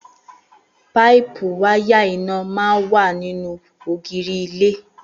Páípù wáyà iná máa ń wà nínú ògiri ilé